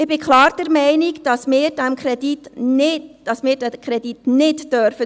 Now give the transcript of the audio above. Ich bin klar der Meinung, dass wir diesen Kredit zurückweisen dürfen.